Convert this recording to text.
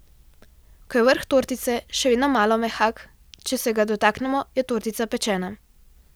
Ko je vrh tortice še vedno malo mehak, če se ga dotaknemo, je tortica pečena.